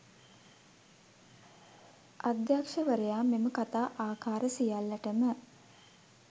අධ්‍යක්ෂවරයා මෙම කථා ආකාර සියල්ලටම